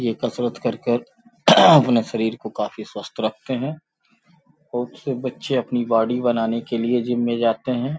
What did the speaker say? ये कसरत करकर अपने शरीर को काफी स्वस्थ रखते हैं बहुत से बच्चे अपनी बॉडी बनाने के लिए जिम में जाते हैं।